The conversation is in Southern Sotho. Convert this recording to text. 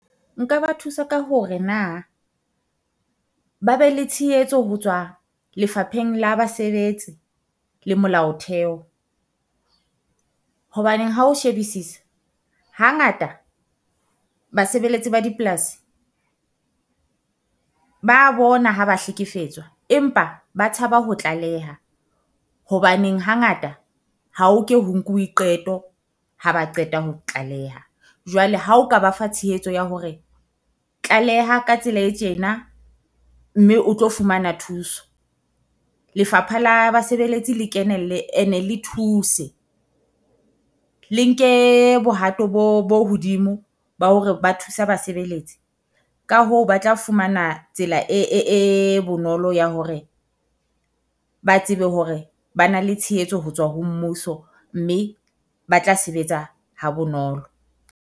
Nka ba thusa ka hore na ba be le tshehetso ho tswa Lefapheng la Basebetsi le Molao Theho. Hobaneng hao shebisisa hangata basebeletsi ba dipolasi ba bona ha ba hlekefetswa empa ba tshaba ho tlaleha. Hobaneng hangata ha ho ke ho nkuwe qeto ha ba qeta ho tlaleha, jwale ha o ka ba fa tshehetso ya hore tlaleha ka tsela e tjena mme o tlo fumana thuso. Lefapha la Basebeletsi le kenelle ene le thuse le nke bohato bo bo hodimo ba hore ba thusa basebeletsi. Ka ho ba tla fumana tsela e bonolo ya hore ba tsebe hore ba na le tshehetso ho tswa ho mmuso mme ba tla sebetsa ha bonolo.